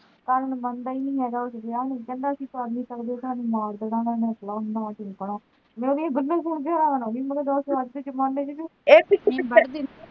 ਸਾਜਨ ਮੰਨਦਾ ਈ ਨੀ ਹੇਗਾ ਵਿਆਹ ਨੂੰ ਕਹਿੰਦਾ ਪਾਲ ਨੀ ਸਕਦੇ ਓਹਨੇ ਮਾਰ ਦੇਣਾ ਮੈਂ ਉਦੀਆਂ ਗੱਲਾਂ ਸੁਣ ਕ ਹੈਰਾਨ ਹੋਗੀ ਮੈਂ ਕਿਹਾ ਦੱਸ ਅੱਜ ਦੇ ਜ਼ਮਾਨੇ ਚ ਵੀ